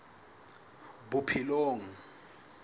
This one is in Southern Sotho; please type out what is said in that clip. bophelong